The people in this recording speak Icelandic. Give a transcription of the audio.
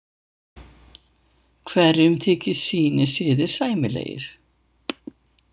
Hverjum þykja sínir siðir sæmilegir.